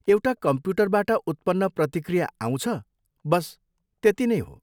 एउटा कम्प्युटरबाट उत्पन्न प्रतिक्रिया आउँछ, बस त्यती नै हो।